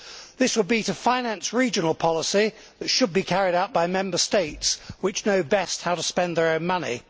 This will be to finance regional policy that should be carried out by Member States which know best how to spend their own money